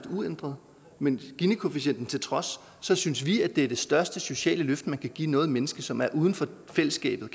uændret men ginikoefficienten til trods synes vi at det største sociale løft man kan give noget menneske som er uden for fællesskabet